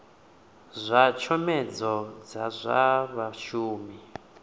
zwa tshomedzo dza zwa vhashumi